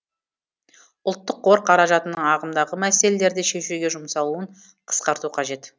ұлттық қор қаражатының ағымдағы мәселелерді шешуге жұмсалуын қысқарту қажет